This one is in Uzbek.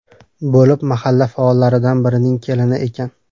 bo‘lib, mahalla faollaridan birining kelini ekan.